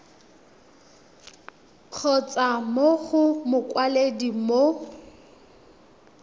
kgotsa mo go mokwaledi mo